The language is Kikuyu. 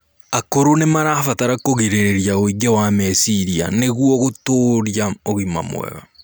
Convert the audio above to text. Akũrũ nimarabatara kũgirĩrĩrĩa ũingĩ wa mecirĩa nĩguo gũtũrĩa ũgima mwega